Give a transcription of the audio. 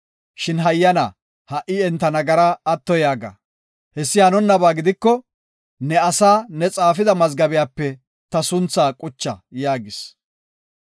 Shin hayyana, ha77i enta nagaraa atto yaaga. Hessi hanonnaba giiko, ne asaa ne xaafida mazgabiyape ta sunthaa qucha” yaagis.